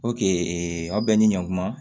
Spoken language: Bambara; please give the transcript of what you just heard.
aw bɛɛ ni ɲɔnkuma